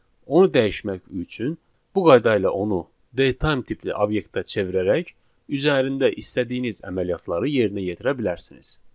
Onu dəyişmək üçün bu qayda ilə onu date time tipli obyektə çevirərək üzərində istədiyiniz əməliyyatları yerinə yetirə bilərsiniz.